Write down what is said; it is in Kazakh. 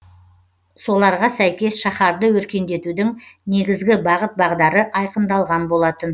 соларға сәйкес шаһарды өркендетудің негізгі бағыт бағдары айқындалған болатын